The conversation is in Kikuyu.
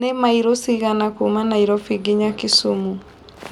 nĩ maĩro cĩgana Kuma Nairobi ngĩnya kisumu